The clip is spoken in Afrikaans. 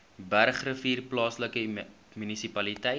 bergrivier plaaslike munisipaliteit